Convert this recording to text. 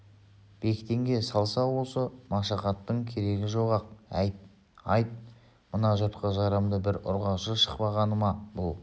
бектенге салса осы машақаттың керегі жоқ-ақ әй айт мына жұртқа жарамды бір ұрғашы шықпағаны ма бұл